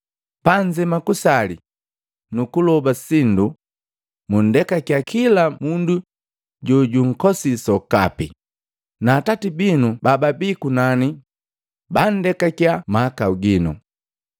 Panzema kusali, nukuloba sindu, mundekakya kila mundu jojunkosii sokapi, na Atati binu bababii kunani bandekakiya mahakau gino.